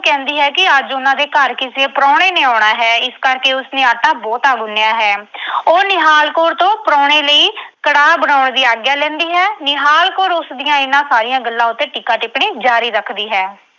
ਕਹਿੰਦੀ ਹੈ ਕਿ ਅੱਜ ਉਨ੍ਹਾਂ ਦੇ ਘਰ ਕਿਸੇ ਪ੍ਰਾਹੁਣੇ ਨੇ ਆਉਣਾ ਹੈ। ਇਸ ਕਰਕੇ ਉਸਨੇ ਆਟਾ ਬਹੁਤਾ ਗੁੰਨ੍ਹਿਆ ਹੈ। ਉਹ ਨਿਹਾਲ ਕੌਰ ਤੋਂ ਪ੍ਰਾਹੁਣੇ ਲਈ ਕੜਾਹ ਬਣਾਉਣ ਦੀ ਆਗਿਆ ਲੈਂਦੀ ਹੈ। ਨਿਹਾਲ ਕੌਰ ਉਸਦੀਆਂ ਇਨ੍ਹਾਂ ਸਾਰੀਆਂ ਗੱਲਾਂ ਉੱਤੇ ਟੀਕਾ-ਟਿੱਪਣੀ ਜਾਰੀ ਰੱਖਦੀ ਹੈ।